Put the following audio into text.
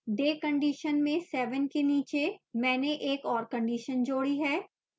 day condition में 7 के नीचे मैंने एक और condition जोड़ी है